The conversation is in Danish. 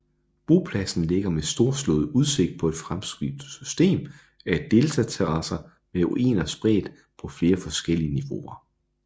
Bopladsen ligger med storslået udsigt på et fremskudt system af deltaterrasser med ruiner spredt på flere forskellige niveauer